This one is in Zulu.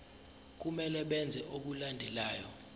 kumele benze okulandelayo